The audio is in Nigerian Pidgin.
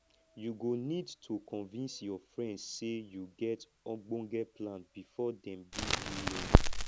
you go need to convince your friends sey you get ogbonge plan before dem give you loan